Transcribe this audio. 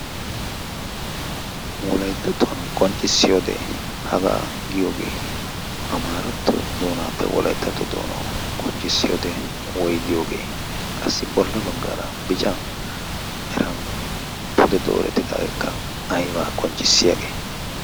wolaittatuwan qonccissiyoode hagaa giyoogee a maaratto doonaappe wolayttato doonawu qonccissiyoode woi giyoogee qassi bolla baggaara bican miran pude dooretidaagekka aybaa qonccissiyaagee?